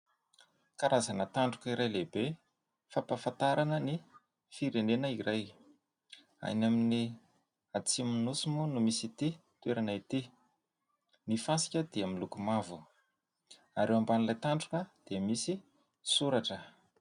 Karazana tandroka iray lehibe fampahafantarana ny firenena iray. Any amin'ny Atsimo ny nosy moa no misy ity toerana ity. Ny fasika dia miloko mavo ary eo ambanin'ilay tandroka dia misy soratra.